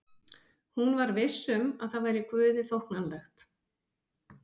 Hún var viss um að það væri Guði þóknanlegt.